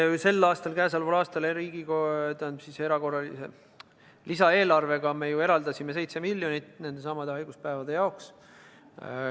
Ja sel aastal, käesoleval aastal lisaeelarvega me eraldasime 7 miljonit nendesamade haiguspäevade jaoks.